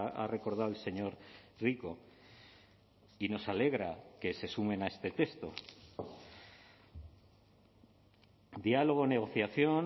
ha recordado el señor rico y nos alegra que se sumen a este texto diálogo negociación